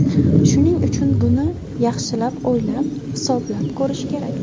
Shuning uchun, buni yaxshilab o‘ylab, hisoblab ko‘rish kerak.